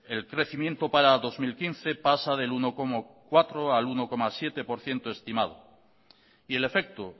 el crecimiento para dos mil quince pasa del uno coma cuatro al uno coma siete por ciento estimado y el efecto